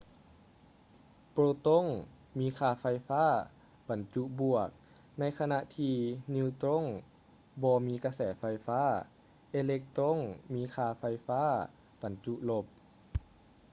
ໂປຼຕົງ ມີຄ່າໄຟຟ້າບັນຈຸບວກ ໃນຂະນະທີ່ ນີວຕຼົງ ບໍ່ມີກະແສໄຟຟ້າ ເອເລັກຕຼົງ ມີຄ່າໄຟໄຟຟ້າບັນຈຸລົບ